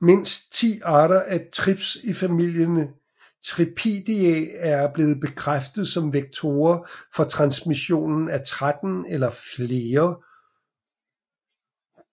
Mindst 10 arter af trips i familien Thripidae er blevet bekræftet som vektorer for transmission af 13 eller flere